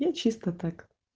чисто так